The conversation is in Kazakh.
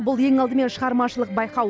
бұл ең алдымен шығармашылық байқау